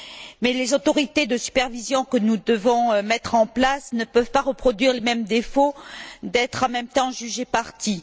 Mais les autorités de supervision que nous devons mettre en place ne peuvent pas reproduire les mêmes défauts en étant en même temps juge et partie.